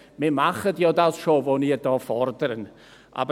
«Wir machen schon, was Sie gefordert haben.